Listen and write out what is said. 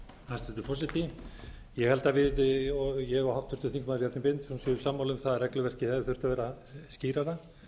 hæstvirtur forseti ég held að við ég og háttvirtur þingmaður bjarni benediktsson séum sammála um það að regluverkið hefði þurft að vera skýrara